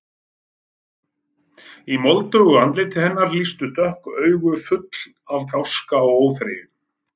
Í moldugu andliti hennar lýstu dökk augu, full af gáska og óþreyju.